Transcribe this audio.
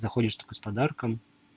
заходишь только с подарком